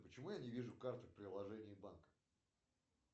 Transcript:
почему я не вижу карту в приложении банка